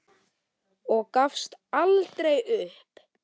Og gafst aldrei upp.